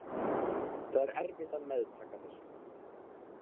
Það er erfitt að meðtaka þessu.